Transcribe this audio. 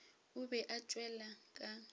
o be a tšwele ka